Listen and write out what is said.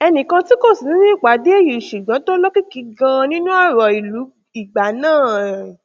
ẹnì kan tí kò sí nínú ìpàdé yìí ṣùgbọn tó lókìkí ganan nínú ọrọ ìlú ìgbà náà